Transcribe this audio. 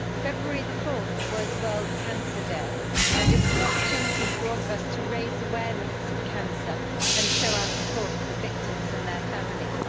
Madam President, 4 February was World Cancer Day and it was an opportunity for all of us to raise awareness of cancer and show our support for the victims and their families.